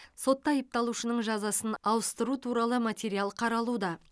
сотта айыпталушының жазасын ауыстыру туралы материал қаралуда